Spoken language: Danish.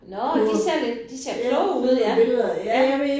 Nåh de ser lidt de ser kloge ud ja ja